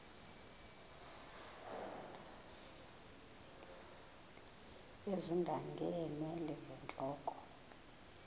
ezinga ngeenwele zentloko